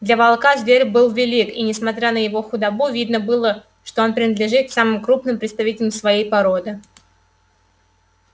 для волка зверь был велик и несмотря на его худобу видно было что он принадлежит к самым крупным представителям своей породы